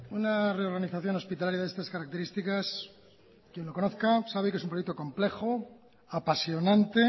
una reorganización hospitalaria de estas características quien lo conozca sabe que es un proyecto complejo apasionante